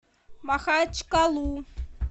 махачкалу